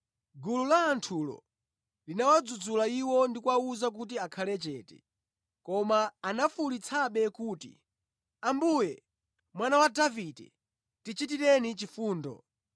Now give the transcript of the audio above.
Gulu la anthulo linawadzudzula iwo ndi kuwawuza kuti akhale chete, koma anafuwulitsabe kuti, “Ambuye, Mwana wa Davide, tichitireni chifundo!”